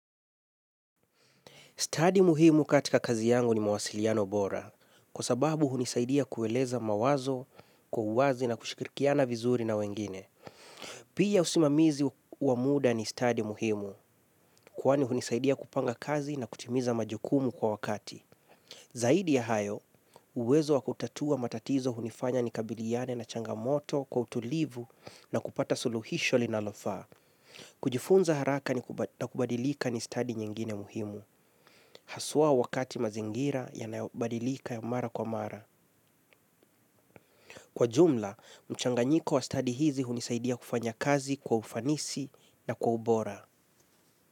Study muhimu katika kazi yangu ni mawasiliano bora, kwa sababu hunisaidia kueleza mawazo, kwa uwazi na kushikirikiana vizuri na wengine. Pia usimamizi wa muda ni study muhimu, kuwani hunisaidia kupanga kazi na kutimiza majokumu kwa wakati. Zaidi ya hayo, uwezo wa kutatua matatizo hunifanya nikabiliane na changamoto kwa utulivu na kupata suluhisho linalofaa. Kujifunza haraka na kubadilika ni study nyingine muhimu. Haswa wakati mazingira yanayobadilika mara kwa mara. Kwa jumla, mchanganyiko wa study hizi hunisaidia kufanya kazi kwa ufanisi na kwa ubora.